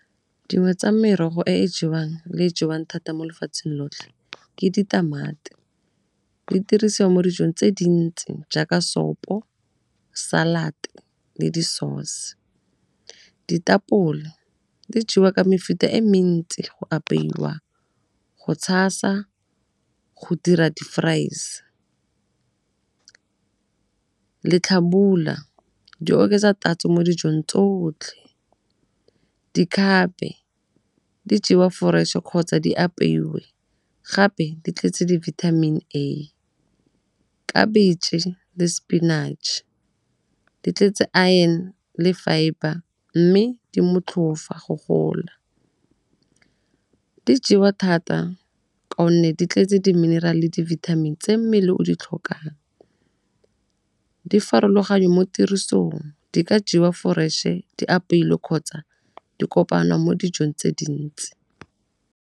Dingwe tsa merogo e e jewang thata mo lefatsheng lotlhe ke ditamati. Di dirisiwa mo dijong tse dintsi jaaka sopo, salad le di-sauce. Ditapole di jewa ka mefuta e mentsi go apeiwa, go tshasa, go dira di-fries. Letlhabula di oketsa tatso mo dijong tsotlhe, dikgape di jewa fresh-e kgotsa di apeiwe gape di tletse di-vitamin A. Khabitšhe le sepinatšhe di tletse iron le fibre mme di motlhofa go gola. Di jewa thata ka gonne di tletse di mineral-e le di-vitamin tse mmele o di tlhokang. Di farologane mo tirisong, di ka jewa fresh-e di apeilwe kgotsa di kopana mo dijong tse dintsi.